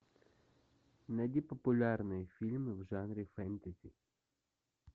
найди популярные фильмы в жанре фэнтези